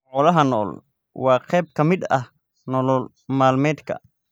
Xoolaha nool waa qayb ka mid ah nolol maalmeedka.